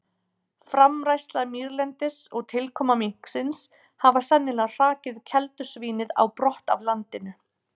Framræsla mýrlendis og tilkoma minksins hafa sennilega hrakið keldusvínið á brott af landinu.